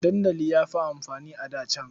Dandali ya fi amfani a da can.